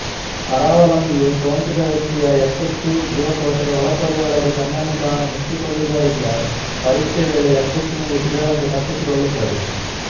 ಪರಾವಲಂಬಿಯು ಸೋಂಕಿತ ವ್ಯಕ್ತಿಯ ಯಕೃತ್ತು ಜೀವಕೋಶದ ಒಳಪೊರೆಯೊಳಗೆ ತನ್ನನ್ನು ತಾನು ಮುಚ್ಚಿಕೊಳ್ಳುವುದರಿಂದ ಪರೀಕ್ಷೆ ವೇಳೆ ಯಕೃತ್ತಿನಲ್ಲಿ ಸಿಗದಂತೆ ತಪ್ಪಿಸಿಕೊಳ್ಳುತ್ತದೆ